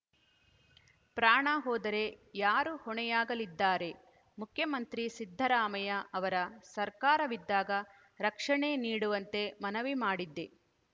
ಪ್ರಾಣ ಹೋದರೆ ಯಾರು ಹೊಣೆಯಾಗಲಿದ್ದಾರೆ ಮುಖ್ಯಮಂತ್ರಿ ಸಿದ್ದರಾಮಯ್ಯ ಅವರ ಸರ್ಕಾರವಿದ್ದಾಗ ರಕ್ಷಣೆ ನೀಡುವಂತೆ ಮನವಿ ಮಾಡಿದ್ದೆ